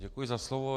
Děkuji za slovo.